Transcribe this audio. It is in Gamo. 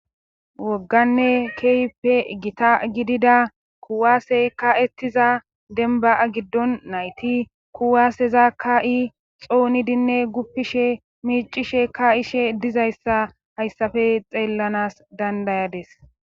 Wogganne keype gita gidida kuwaasey ka'ettiza denba'a giddon nayti kuwaaseza ka'i xoonidinne guppishe miicishe ka ishe dizayssa hayssafe xeellanas dandayades.